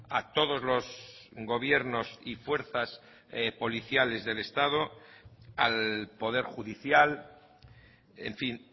a todos los gobiernos y fuerzas policiales del estado al poder judicial en fin